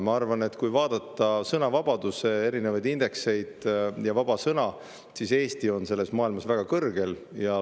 Ma arvan, et kui vaadata erinevaid sõnavabaduse indekseid ja vaba sõna, siis Eesti on selles maailmas väga kõrgel.